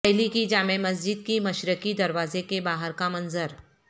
دہلی کی جامع مسجد کے مشرقی دروازے کے باہر کا منظر